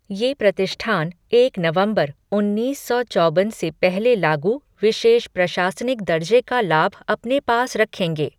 ये प्रतिष्ठान एक नवंबर, उन्नीस सौ चौबन से पहले लागू विशेष प्रशासनिक दर्जे का लाभ अपने पास रखेंगे।